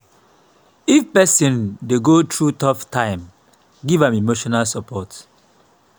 if pesin dey go thru tough time giv am emotional support.